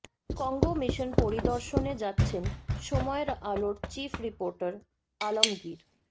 Congo mission পরিদর্শনে যাচ্ছেন সময়ের আলোর চিফ রিপোর্টার আলমগীর